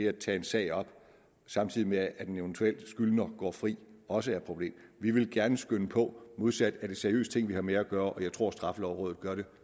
at tage en sag op samtidig med at en eventuel skyldig går fri også er et problem vi vil gerne skynde på modsat er det seriøse ting vi har med at gøre og jeg tror at straffelovrådet gør det